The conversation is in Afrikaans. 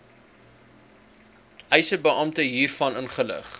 eisebeampte hiervan inlig